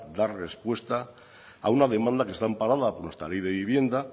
dar respuesta a una demanda que está amparada por nuestra ley de vivienda